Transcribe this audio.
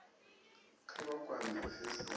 kha vha kwame ofisi ya